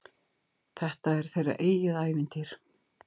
Þetta er þeirra eigið ævintýr.